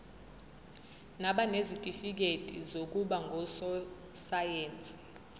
nabanezitifikedi zokuba ngososayense